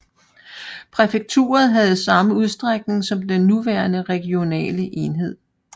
Præfekturet havde samme udstrækning som den nuværende regionale enhed